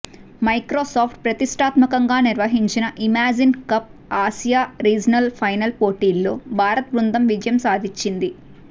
Microsoft ప్రతిష్టాత్మకంగా నిర్వహించిన Imagine Cup Asia regional final పోటీలో భారత్ బృందం విజయం సాధించింది